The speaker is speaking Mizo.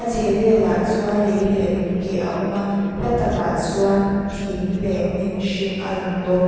chhehvelah chuan lei leh lung keh a awm a hla takah chuan thing leh hnim hring a lang bawk.